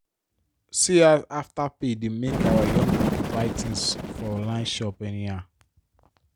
see as afterpay dey make our young people buy tins for online shop anyhow.